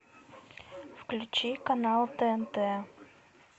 включи канал тнт